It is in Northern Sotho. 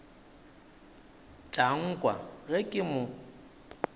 tla nkwa ge ke mo